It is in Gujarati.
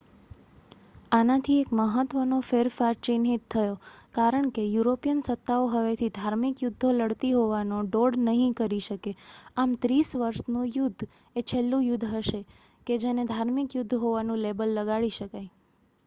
આનાથી એક મહત્ત્વનો ફેરફાર ચિહ્નિત થયો કારણ કે યુરોપિયન સત્તાઓ હવેથી ધાર્મિક યુદ્ધો લડતી હોવાનો ડોળ નહીં કરી શકે આમ ત્રીસ વર્ષનું યુદ્ધ એ છેલ્લું યુદ્ધ હશે કે જેને ધાર્મિક યુદ્ધ હોવાનું લેબલ લગાડી શકાય